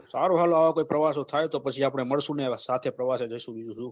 સારું હાલો આ વખત પ્રવાસો થાય તો પછી આપડે મલસું ને એવા સાથે પ્રવાસ એ જસુ બીજું શું